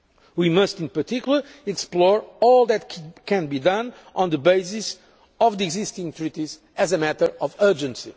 We must in particular explore all that can be done on the basis of the existing treaties as a matter of urgency.